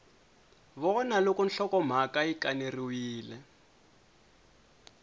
vona loko nhlokomhaka yi kaneriwile